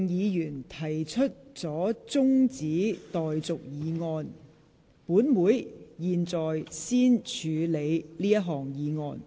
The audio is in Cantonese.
由於毛孟靜議員提出了中止待續議案，本會現在先處理這項議案。